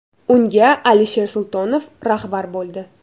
Unga Alisher Sultonov rahbar bo‘ldi.